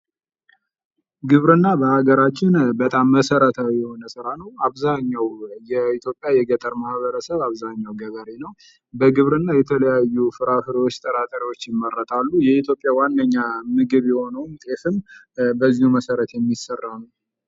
ግብርና በሃገራችን በጣም መሰረታዊ ስራ ነው አብዛኛው የገጠር ማህበረሰብ አብዛኛው ገበሬ ነው በግብርና የተለያዩ ፍራፍሬዎች ፍራፍሬ ጥራጥሬዎች ይመረጣሉ የኢትዮጵያ ዋነኛ ምግብ የሆነውም ጤፍም መሰረት የሚሰራ ነው።